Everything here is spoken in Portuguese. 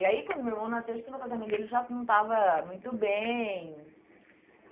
E aí quando meu irmão nasceu, acho que no casamento dele já não estava muito bem.